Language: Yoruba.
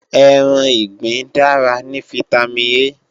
Ẹran ìgbín dára ní fítámìn A